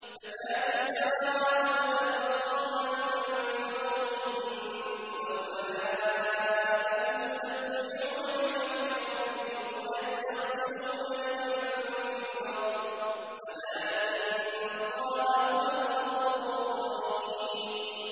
تَكَادُ السَّمَاوَاتُ يَتَفَطَّرْنَ مِن فَوْقِهِنَّ ۚ وَالْمَلَائِكَةُ يُسَبِّحُونَ بِحَمْدِ رَبِّهِمْ وَيَسْتَغْفِرُونَ لِمَن فِي الْأَرْضِ ۗ أَلَا إِنَّ اللَّهَ هُوَ الْغَفُورُ الرَّحِيمُ